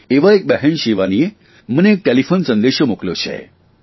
એવાં બહેન શિવાનીએ મને એક ટેલીફોન સંદેશો મોકલ્યો છે